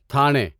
تھانے